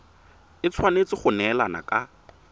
e tshwanetse go neelana ka